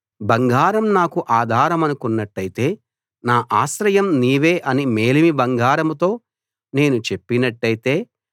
బంగారం నాకు ఆధారమనుకున్నట్టయితే నా ఆశ్రయం నీవే అని మేలిమి బంగారంతో నేను చెప్పినట్టయితే